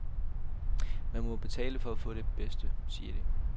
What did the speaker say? Man må betale for at få de bedste, siger de.